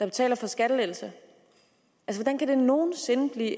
betale for skattelettelser hvordan kan det nogen sinde blive